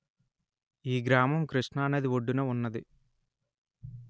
ఈ గ్రామం కృష్ణా నది ఒడ్డున వున్నది